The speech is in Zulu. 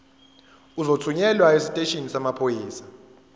uzothunyelwa esiteshini samaphoyisa